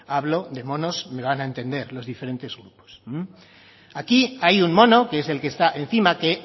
hablo de monos me lo van a entender los diferentes grupos aquí hay un mono que es el que está encima que